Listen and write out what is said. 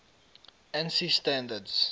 ansi standards